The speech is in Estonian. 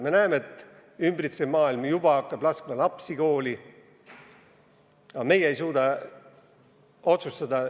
Me näeme, et ümbritsev maailm hakkab juba lapsi kooli laskma, aga meie ei suuda otsustada.